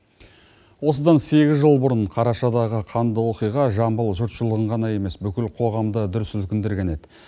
осыдан сегіз жыл бұрын қарашадағы қанды оқиға жамбыл жұртшылығын ғана емес бүкіл қоғамды дүр сілкіндірген еді